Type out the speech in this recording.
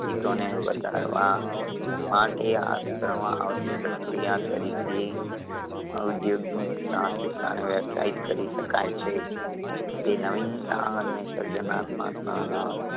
Eco ને વધારવા માટે હાથ ધરવામાં આવતી પ્રક્રિયા તરીકે ઉધ્યોગિક સાહસિકતા ને વ્યાખ્યાયિત કરી શકાય છે. તે નવીનતા અને સર્જનાત્મક ન ન